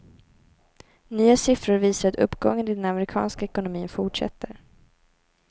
Nya siffror visar att uppgången i den amerikanska ekonomin fortsätter.